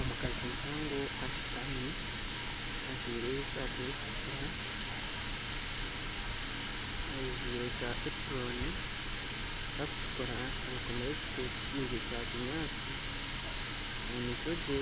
Omukazi muhango ashutami ajwaire esaati erikutukura ajwiire ka epuroni kakutukura ayekomire ekitengye Kya kinyatsi omumaisho gye